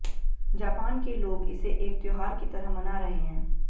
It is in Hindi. जापान के लोग इसे एक त्योहार की तरह मना रहे हैं